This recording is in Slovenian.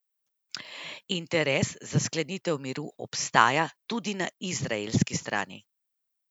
Interes za sklenitev miru obstaja tudi na izraelski strani.